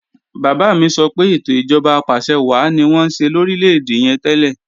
Bàbá mi sọ pé ètò ìjọba apàṣẹwàá ni wọ́n ń ṣe lórílè-èdè yẹn tẹ́lẹ̀